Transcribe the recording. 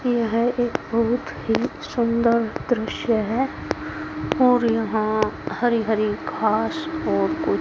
यह एक बहुत ही सुंदर दृश्य है और यहां हरी हरी घास और कु--